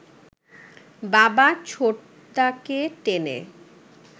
বাবা ছোটদাকে টেনে